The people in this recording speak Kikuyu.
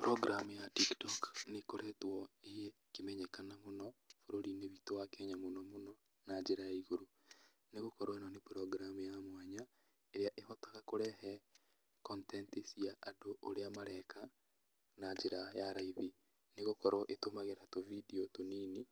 Program ya tiktok nĩkoretwo ĩkĩmenyekana mũno bũrũri-inĩ witũ wa kenya mũno mũno na njĩra ya igũrũ, nĩgũkorwo ĩno nĩ program ya mwanya ĩrĩa ĩhotaga kũrehe content cia andũ ũrĩa mareka, na njĩra ya raithi, nĩgũkorwo ĩtũmagĩra tũbindiũ tũnini,